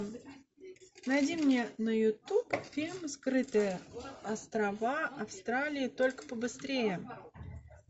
найди мне на ютуб фильм скрытые острова австралии только побыстрее